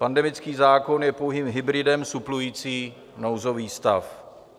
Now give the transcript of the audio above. Pandemický zákon je pouhým hybridem suplující nouzový stav.